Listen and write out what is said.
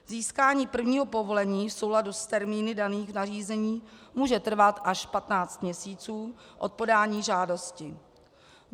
Získání prvního povolení v souladu s termíny daných nařízení může trvat až 15 měsíců od podání žádosti.